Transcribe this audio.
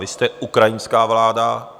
Vy jste ukrajinská vláda.